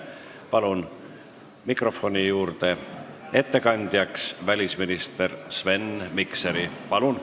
Palun ettekandeks mikrofoni juurde välisminister Sven Mikseri!